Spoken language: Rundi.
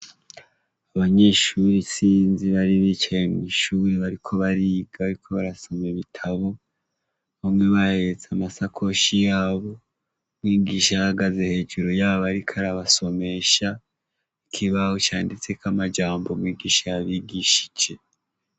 Abanyeshuri isinzi bari bicaye mw' ishuri bariko bariga bariko barasoma ibitabu, bamwe bahetse amasakoshi yabo, mwigisha ahagaze hejuru yabo ariko arasomesha ikibaho canditseko amajambo mwigisha yabigishije.